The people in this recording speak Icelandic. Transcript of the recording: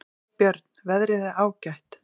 Björn: Veðrið er ágætt.